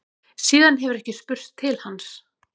Síðan hefur ekki spurst til hans